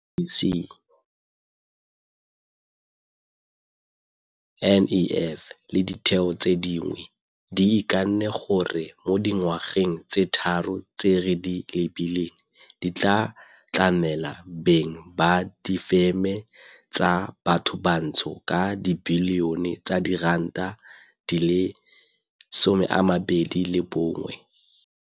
IDC, NEF le ditheo tse dingwe di ikanne gore mo dingwageng tse tharo tse re di lebileng di tla tlamela beng ba difeme tsa bathobantsho ka dibilione tsa diranta di le 21.